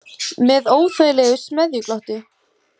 Með óþægilegu smeðjuglotti.